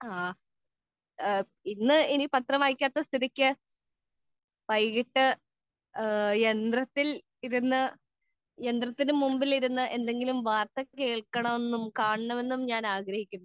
speaker 2 ഇന്ന് ഇനി പത്രം വായിക്കാത്ത സ്ഥിതിക്ക് വൈകിട്ട് യന്ത്രത്തിന് മുന്നിലിരുന്ന് എന്തെങ്കിലും വാർത്തകൾ കേൾക്കണമെന്നും കാണണമെന്നും ഞാൻ ആഗ്രഹിക്കുന്നു